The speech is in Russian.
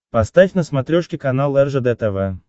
поставь на смотрешке канал ржд тв